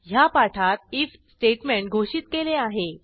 ह्या पाठात if statement घोषित केले आहे